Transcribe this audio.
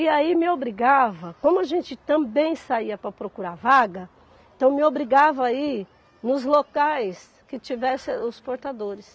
E aí me obrigava, como a gente também saía para procurar vaga, então me obrigava a ir nos locais que tivessem os portadores.